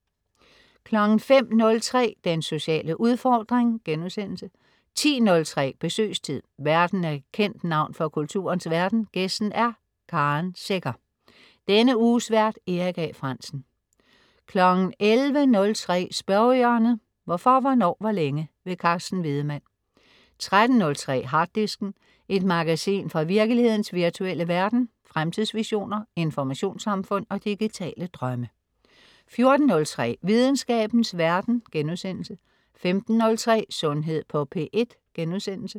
05.03 Den sociale udfordring* 10.03 Besøgstid. Værten er et kendt navn fra kulturens verden, gæsten er Karen Secher. Denne uges vært: Erik A. Frandsen 11.03 Spørgehjørnet. Hvorfor, hvornår, hvor længe? Carsten Wiedemann 13.03 Harddisken. Et magasin fra virkelighedens virtuelle verden. Fremtidsvisioner, informationssamfund og digitale drømme 14.03 Videnskabens verden* 15.03 Sundhed på P1*